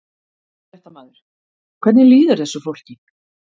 Fréttamaður: Hvernig líður þessu fólki?